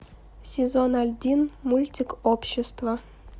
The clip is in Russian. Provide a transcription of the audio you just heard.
сезон один мультик общество